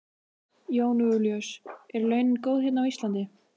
Jón Júlíus: Eru launin góð hérna á Íslandi?